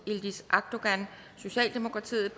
yildiz akdogan